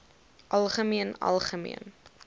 algemeen algemeen